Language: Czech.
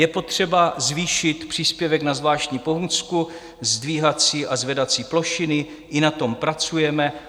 Je potřeba zvýšit příspěvek na zvláštní pomůcku, zdvihací a zvedací plošiny, i na tom pracujeme.